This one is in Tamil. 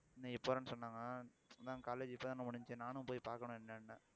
இன்னைக்கு போறேன்னு சொன்னாங்க இப்பதான் college முடிஞ்சுச்சு நானும் போய் பார்க்கணும் என்னென்னு